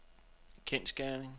kendsgerning